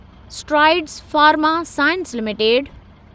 strides Pharma Science limited